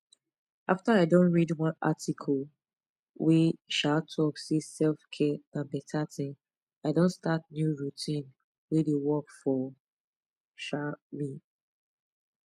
after i don read one article wey um talk say selfcare na beta thing i don start new routine wey dey work for um me